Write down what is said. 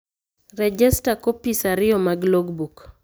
Rejesta kopis ariyo mag logbook